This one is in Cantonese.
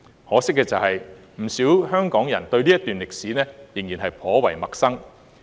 可惜的是，不少港人對這段歷史仍然頗為陌生。